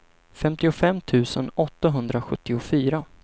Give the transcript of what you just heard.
femtiofem tusen åttahundrasjuttiofyra